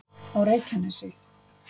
á reykjanesi